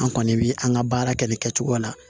An kɔni bi an ka baara kɛ nin kɛcogoya la